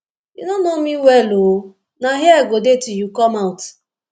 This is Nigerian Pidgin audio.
you no know me well oo na here i go dey till you come out